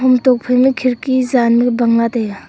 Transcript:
ham tokphai na khirki jannu bang la taiga.